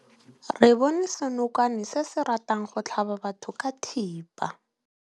Re bone senokwane se se ratang go tlhaba batho ka thipa.